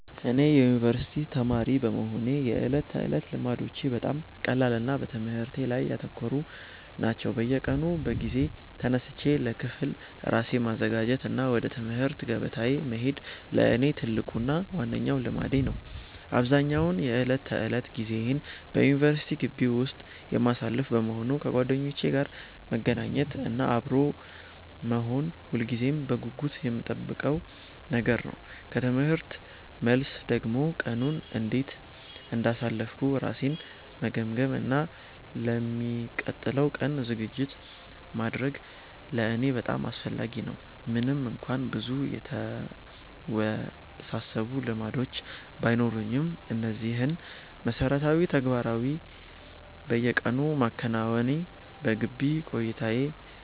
እኔ የዩኒቨርሲቲ ተማሪ በመሆኔ የዕለት ተዕለት ልማዶቼ በጣም ቀላልና በትምህርቴ ላይ ያተኮሩ ናቸው። በየቀኑ በጊዜ ተነስቼ ለክፍል ራሴን ማዘጋጀት እና ወደ ትምህርት ገበታዬ መሄድ ለእኔ ትልቁና ዋነኛው ልማዴ ነው። አብዛኛውን የዕለት ተዕለት ጊዜዬን በዩኒቨርሲቲ ግቢ ውስጥ የማሳልፍ በመሆኑ፣ ከጓደኞቼ ጋር መገናኘት እና አብሮ መሆን ሁልጊዜም በጉጉት የምጠብቀው ነገር ነው። ከትምህርት መልስ ደግሞ ቀኑን እንዴት እንዳሳለፍኩ ራሴን መገምገም እና ለሚቀጥለው ቀን ዝግጅት ማድረግ ለእኔ በጣም አስፈላጊ ነው። ምንም እንኳን ብዙ የተወሳሰቡ ልማዶች ባይኖሩኝም፣ እነዚህን መሠረታዊ ተግባራት በየቀኑ ማከናወኔ በግቢ ቆይታዬ